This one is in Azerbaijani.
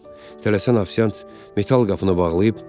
Tələsən ofisiant metal qapını bağlayıb.